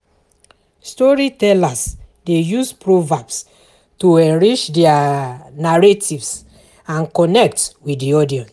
Storytellers dey use proverbs to enrich their narratives and connect with the audience.